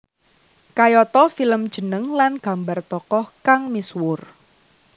Kayata film jeneng lan gambar tokoh kang misuwur